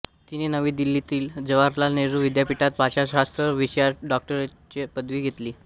तिने नवी दिल्लीतील जवाहरलाल नेहरू विद्यापीठात भाषाशास्त्र विषयात डॉक्टरेटची पदवी घेतली